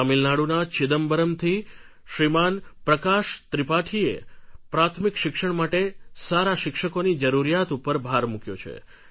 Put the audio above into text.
તામિલનાડુના ચિદમ્બરમ્ થી શ્રીમાન પ્રકાશ ત્રિપાઠીએ પ્રાથમિક શિક્ષણ માટે સારા શિક્ષકોની જરૂરિયાત ઉપર ભાર મૂક્યો છે